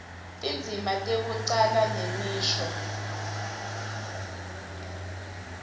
tindzima tekucala nemisho